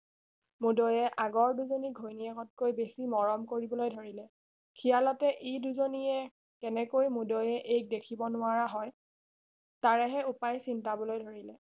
মূদৈয়ে আগৰ দুজনি ঘৈণীয়েতকৈ বেছি মৰম কৰিবলৈ ধৰিলে খিয়ালতে ই দুজনিয়ে কেনেকৈ মূদৈয়ে এইক দেখিব নোৱাৰা হয় তাৰেহে উপায় চিন্তাবলৈ ধৰিলে